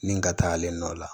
Nin ka taa ale nɔ la